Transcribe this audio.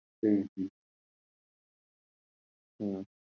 হুম, হুম, হুম।